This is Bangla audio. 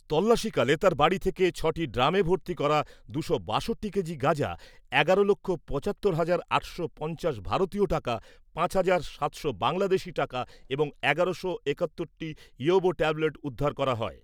তল্লাসীকালে তার বাড়ি থেকে ছটি ড্রামে ভর্তি করা দুশো বাষট্টি কেজি গাজা, এগারো লক্ষ পঁচাত্তর হাজার আটশো পঞ্চাশ ভারতীয় টাকা, পাঁচ হাজার সাতশো বাংলাদেশী টাকা এবং এগারোশো একাত্তর টি ইয়াবা ট্যাবলেট উদ্ধার করা হয়।